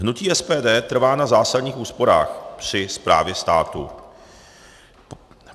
Hnutí SPD trvá na zásadních úsporách při správě státu.